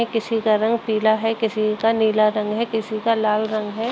किसी का रंग पीला है किसी का नीला रंग है किसी का लाल रंग है।